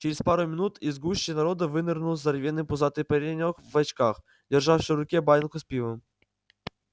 через пару минут из гущи народа вынырнул здоровенный пузатый паренёк в очках держащий в руке банку с пивом